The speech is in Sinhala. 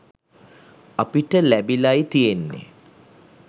අපිට ලැබිලයි තියෙන්නෙ.